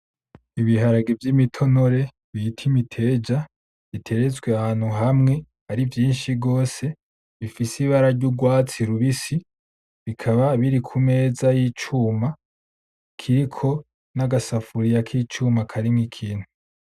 N'ibiharage vy'imitonore bita Imiteja, biteretswe ahantu hamwe ari vyinshi gose, bifise ibara ry'urwatsi rubisi, bikaba biri ku meza y'icuma kiriko n'agasafuriya k'icuma karimwo ikintu.